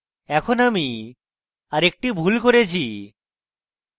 এখন আমি আরেকটি ভুল করেছি